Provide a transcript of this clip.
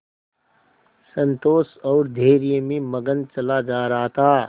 संतोष और धैर्य में मगन चला जा रहा था